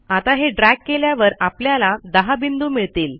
आता हे ड्रॅग केल्यावर आपल्याला 10 बिंदू मिळतील